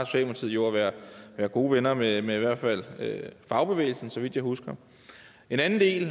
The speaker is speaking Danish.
jo at være gode venner med i hvert fald fagbevægelsen så vidt jeg husker en anden del